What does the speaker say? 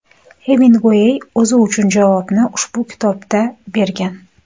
Xeminguey o‘zi uchun javobni ushbu kitobda bergan.